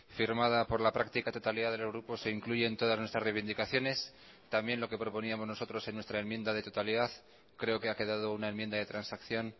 firmada por la práctica totalidad de los grupos se incluyen todas nuestras reivindicaciones también lo que proponíamos nosotros en nuestra enmienda de totalidad creo que ha quedado una enmienda de transacción